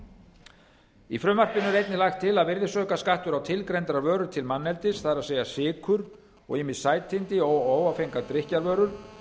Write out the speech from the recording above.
í frumvarpinu er einnig lagt til að virðisaukaskattur á tilgreindar vörur til manneldis það er sykur og ýmis sætindi og óáfengar drykkjarvörur